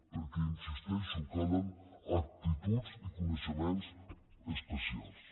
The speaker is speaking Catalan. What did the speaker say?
perquè hi insisteixo calen aptituds i coneixements especials